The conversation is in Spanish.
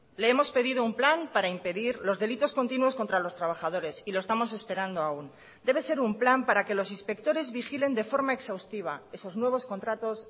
le hemos pedido un plan para impedir los delitos continuos contra los trabajadores y lo estamos esperando aún debe ser un plan para que los inspectores vigilen de forma exhaustiva esos nuevos contratos